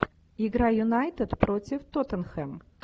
игра юнайтед против тоттенхэм